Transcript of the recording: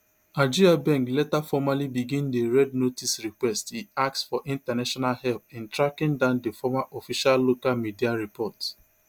agyebeng later formally begin di red notice request e ask for international help in tracking down di former official local media report